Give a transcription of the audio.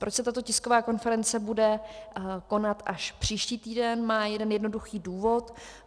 Proč se tato tisková konference bude konat až příští týden, má jeden jednoduchý důvod.